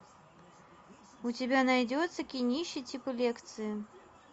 у тебя найдется кинище типа лекции